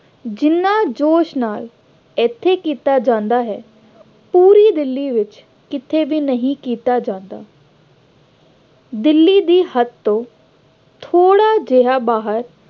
ਜਿੰਨਾ ਜੋਸ਼ ਨਾਲ ਇੱਥੇ ਕੀਤਾ ਜਾਂਦਾ ਹੈ, ਪੂਰੀ ਦਿੱਲੀ ਵਿੱਚ ਕਿਤੇ ਵੀ ਨਹੀਂ ਕੀਤਾ ਜਾਂਦਾ। ਦਿੱਲੀ ਦੀ ਹੱਦ ਤੋਂ ਥੋੜ੍ਹਾ ਜਿਹਾ ਬਾਹਰ